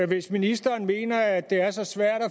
hvis ministeren mener at det er så svært at